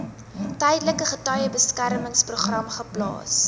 tydelike getuiebeskermingsprogram geplaas